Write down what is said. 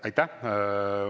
Aitäh!